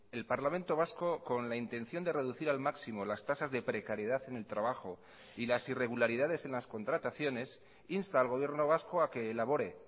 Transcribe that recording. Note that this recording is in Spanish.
el parlamento vasco con la intención de reducir al máximo las tasas de precariedad en el trabajo y las irregularidades en las contrataciones insta al gobierno vasco a que elabore